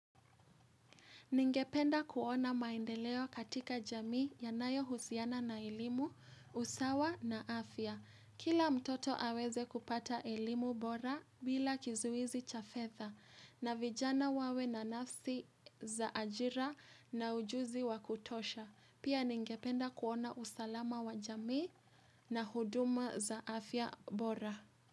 Ningependa kuona maendeleo katika jamii yanayohusiana na elimu, usawa na afya. Kila mtoto aweze kupata elimu bora bila kizuizi cha fedha na vijana wawe na nafsi za ajira na ujuzi wakutosha. Pia ningependa kuona usalama wa jamii na huduma za afya bora.